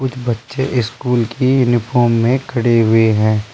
बच्चे स्कूल की यूनिफॉर्म में खड़े हुए हैं।